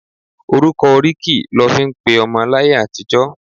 Orúkọ oríkì lọ fí ń pe ọmọ láyé àtijó.